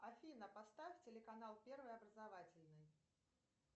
афина поставь телеканал первый образовательный